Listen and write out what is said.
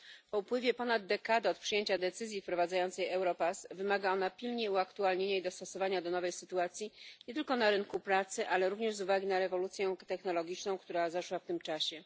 Po upływie ponad dekady od przyjęcia decyzji wprowadzającej Europass wymaga ona pilnie uaktualnienia i dostosowania nie tylko do nowej sytuacji na rynku pracy, ale również z uwagi na rewolucję technologiczną, która zaszła w tym czasie.